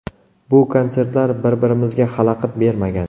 Bu konsertlar bir-birimizga xalaqit bermagan.